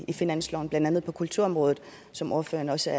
i finansloven blandt andet på kulturområdet som ordføreren også